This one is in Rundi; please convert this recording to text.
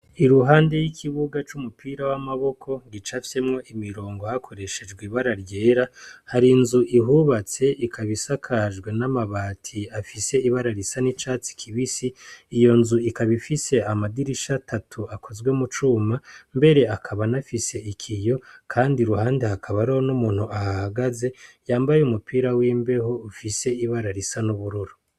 I ruhande y'ikibuga c'umupira w'amaboko gica afyemwo imirongo hakoreshejwe ibara ryera hari inzu ihubatse ikabisakajwe n'amabati afise ibara risa n'icatsi kibisi iyo nzu ikabifise amadirisha atatu akozwe mu cuma mbere akaba nafise ikiyo, kandi ruhande hakabaro niumuntu ahahagaze yambaye umupira w'imbeho ufise ibara risa n'ubururo.